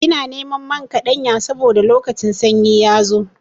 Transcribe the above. Ina neman man kaɗanya saboda lokacin sanyi ya zo.